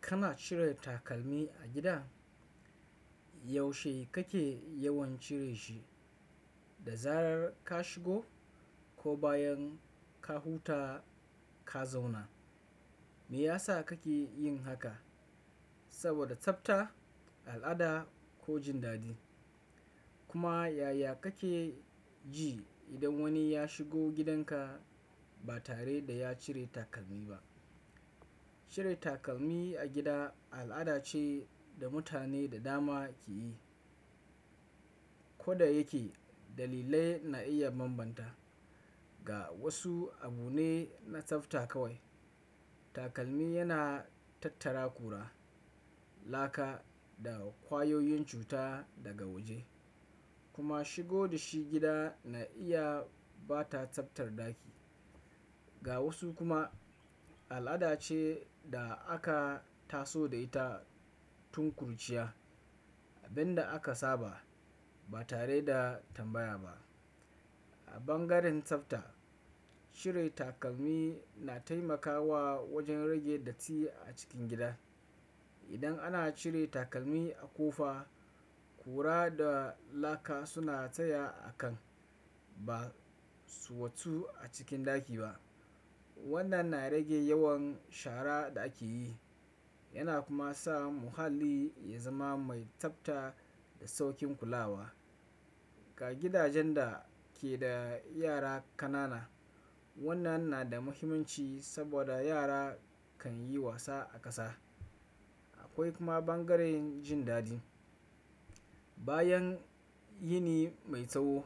Kana cire takalmi a gida? Yaushe kake yawan cire shi? Da zarar ka shigo ko bayan ka huta ka zauna? Me yasa kake yin haka? Saboda tsafta, al'ada ko jin daɗi? Kuma yaya kake ji idan wani ya shigo gidanka ba tare da ya cire takalmi ba? Cire takalmi a gida al'ada ce da mutane da dama ke yi. Koda yake, dalilai na iya bambanta. Ga wasu, abu ne na tsafta kawai. Takalmi yana tattara ƙura, laka da ƙwayoyin cuta daga waje kuma shigo da shi gida na iya ɓa ta tsaftar ɗaki. Ga wasu kuma, al'ada ce da aka taso da ita tun kuruciya. Abin da aka saba ba tare da tambaya ba. A bangaren tsafta, cire takalmi na taimakawa wajen rage datti a cikin gida. Idan ana cire takalmi a ƙofa, ƙura da laka suna tsaya a kan ba su watsu a cikin ɗaki ba. Wannan na rage yawan shara da ake yi yana kuma sa muhalli ya zama mai tsafta da sauƙin kulawa. Ga gidajen da ke da yara ƙanana, wannan na da muhimmanci saboda yara kan yi wasa a ƙasa. Akwai kuma bangaren jin daɗi. Bayan yini mai tsawo,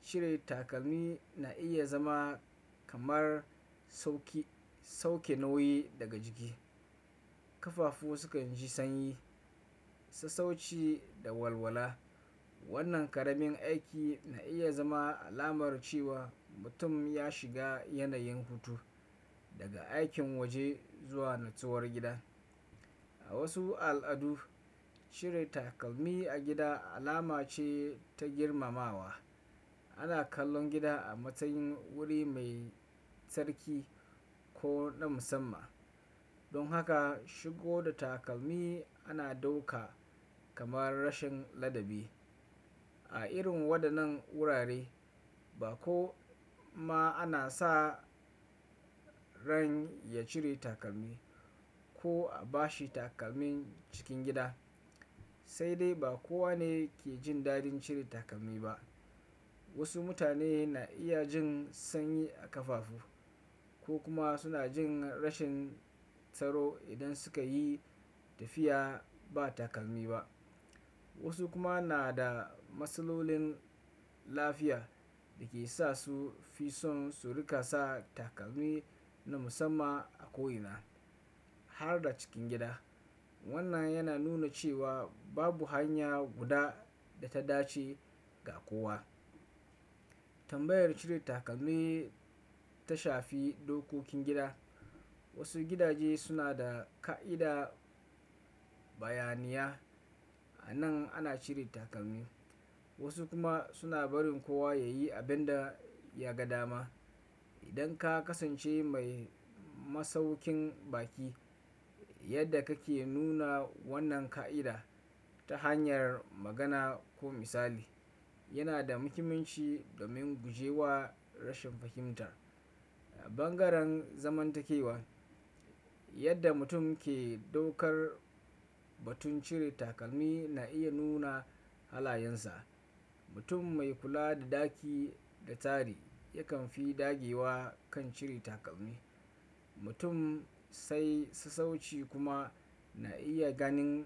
cire takalmi na iya zama kamar sauki sauke nauyi daga jiki. Kafafu sukan ji sanyi, sassauci da walwala. Wannan ƙaramin aiki na iya zama alamar cewa mutum ya shiga yanayin hutu daga aikin waje zuwa nutsuwar gida. A wasu al'adu, cire takalmi a gida alama ce ta girmamawa. Ana kallon gida a matsayin wuri mai tsarki ko na musamman. Don haka shigo da takalmi ana ɗauka kamar rashin ladabi. A irin waɗannan wurare ba ko ma ana sa ran ya cire takalmi ko a bashi takalmin cikin gida. Sai dai ba kowa ne ke jin daɗin cire takalmi ba. Wasu mutane na iya jin sanyi a ƙafafu ko kuma suna jin rashin tsaro idan suka yi tafiya ba takalmi ba. Wasu kuma na da matsalolin lafiya da ke sa su fi son su riƙa sa takalmi na musamman a ko ina har da cikin gida. Wannan yana nuna cewa babu hanya guda da ta dace ga kowa. Tambayar cire takalmi ta shafi dokokin gida. Wasu gidaje suna da ƙa'ida bayaniya. A nan ana cire takalmi, wasu kuma suna barin kowa ya yi abin da ya ga dama. Idan ka kasance mai masauƙin ɓaki, yadda kake nuna wannan ƙa'ida ta hanyar magana ko misali yana da muhimmanci domin guje wa rashin fahimtar. A bangaren zamantakewa, yadda mutum ke ɗaukar batun cire takalmi na iya nuna halayensa. Mutum mai kula da ɗaki da tsari yakan fi dagewa kan cire takalmi. Mutum sai sassauci kuma na iya ganin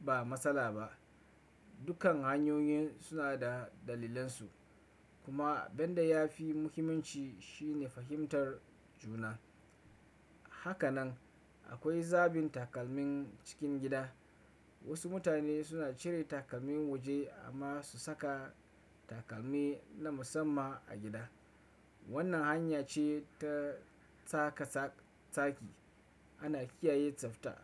ba matsala ba. Dukkan hanyoyin suna da dalilansu. Kuma abin da ya fi muhimmanci shine fahimtar juna. Haka nan akwai zaɓin takalmin cikin gida. Wasu mutane suna cire takalmin waje amma su saka takalmi na musamman a gida. Wannan hanya ce ta tsaka tsaki. Ana kiyaye tsafta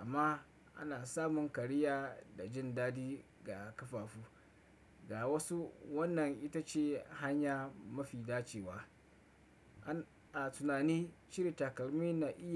amma ana samun kariya da jin daɗi ga kafafu. Ga wasu, wannan ita ce hanya mafi dacewa. A tunani, cire takalmi na iya.